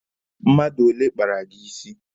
Mmadụ ole kpara gị isi?